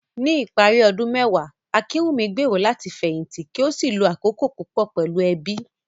Ní ìparí ọdún mẹ́wàá, Akinwunmi gbèrò láti fẹ̀yìntì kí ó sì lo àkókò púpọ̀ pẹ̀lú ẹbí.